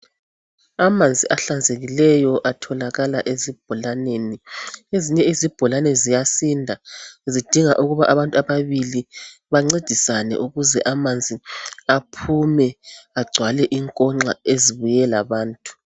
Amanzi ahlanzekileyo atholakala esibholaneni. Ezinye izibholane ziyasinda. Zidinga ukuba, abantu ababili, bancedisane, ukuze amanzi aphume. Agcwale inkonxa ezibuye labantu.